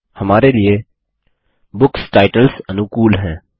हमारे लिए books titles अनुकूल हैं